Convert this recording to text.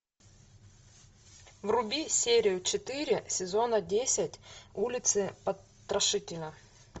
вруби серию четыре сезона десять улицы потрошителя